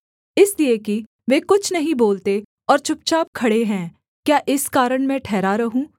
इसलिए कि वे कुछ नहीं बोलते और चुपचाप खड़े हैं क्या इस कारण मैं ठहरा रहूँ